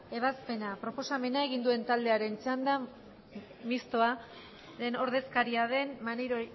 ebazpena proposamena egin duenaren txanda mistoaren ordezkari den maneiro